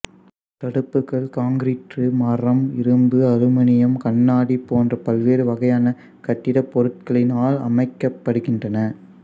தடுப்புகள் concrete மரம் இரும்பு aluminium கண்ணாடி போன்ற பல்வேறு வகையான கட்டிடப்பொருட்களினால் அமைக்கப்படுகின்றன